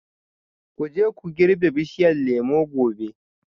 Ku je ku girbi bishiyar lemu gobe